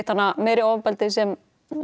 hana meiri ofbeldi sem